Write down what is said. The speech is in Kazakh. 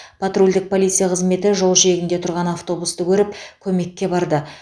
патрульдік полиция қызметі жол жиегінде тұрған автобусты көріп көмекке барды